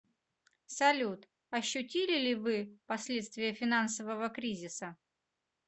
салют ощутили ли вы последствия финансового кризиса